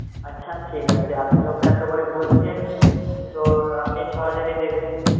আচ্ছা ঠিক আছে আপনি যখন এতো করে বলছেন তো আপনি ছ হাজারই দেবেন.